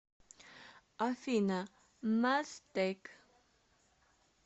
афина мазтэк